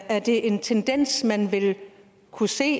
er det en tendens man vil kunne se